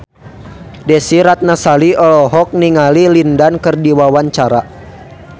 Desy Ratnasari olohok ningali Lin Dan keur diwawancara